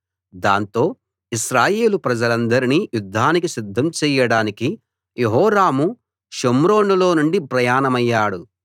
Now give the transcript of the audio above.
దాంతో ఇశ్రాయేలు ప్రజలందర్నీ యుద్ధానికి సిద్ధం చేయడానికి యెహోరాము షోమ్రోనులో నుండి ప్రయాణమయ్యాడు